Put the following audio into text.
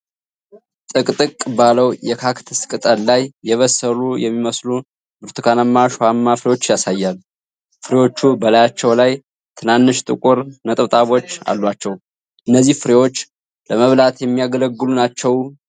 ጥቅጥ ቅ ባለው የካክተስ ቅጠል ላይ የበሰሉ የሚመስሉ ብርቱካናማ እሾሃማ ፍሬዎች ያሳያል። ፍሬዎቹ በላያቸው ላይ ትናንሽ ጥቁር ነጠብጣቦች አሏቸው። እነዚህ ፍሬዎች ለመብላት የሚያገለግሉ ናቸው?